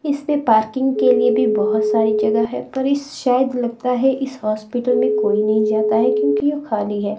इसमे पार्किंग के लिए भी बहोत सारी जगह है पर इस शायद लगता है इस अस्पताल में कोई नहीं जाता है क्योंकि यह खाली है।